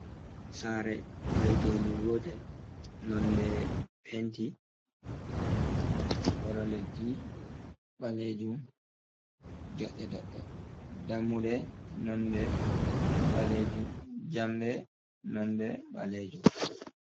Sare vaitendu gotel, nonde penti kolo leddi ɓalejum, ɗodde doɗɗe, dammude nonde ɓalejum jamɗe nonde ɓalejum.